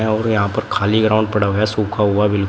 और यहां पर खाली ग्राउंड पड़ा हुआ है सूखा हुआ बिल--